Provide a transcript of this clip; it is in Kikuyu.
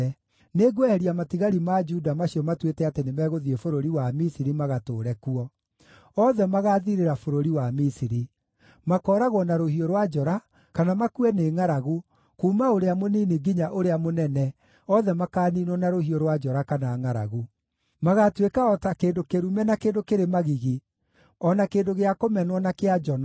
Nĩngweheria matigari ma Juda macio matuĩte atĩ nĩmegũthiĩ bũrũri wa Misiri magatũũre kuo. Othe magaathirĩra bũrũri wa Misiri; makooragwo na rũhiũ rwa njora, kana makue nĩ ngʼaragu, kuuma ũrĩa mũnini nginya ũrĩa mũnene, othe makaaniinwo na rũhiũ rwa njora kana ngʼaragu. Magaatuĩka o ta kĩndũ kĩrume na kĩndũ kĩrĩ magigi, o na kĩndũ gĩa kũmenwo na kĩa njono;